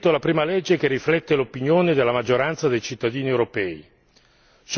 Abbiamo scritto la prima legge che riflette l'opinione della maggioranza dei cittadini europei.